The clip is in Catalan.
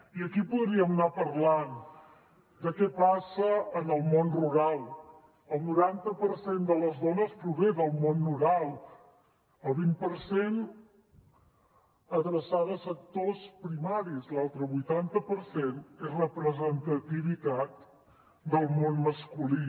i aquí podríem anar parlant de què passa en el món rural el noranta per cent de les dones prové del món rural el vint per cent adreçat a sectors primaris l’altre vuitanta per cent és representativitat del món masculí